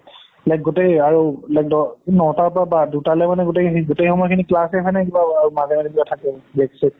like, গোটেই আৰু like ন টাৰ পৰা বা দুটালৈ মানে গোটেখিনি ~ গোটেই সময়খিনি class এ হয় নে কিবা ~আ মাজে মাজে কিবা থাকে, break চেক?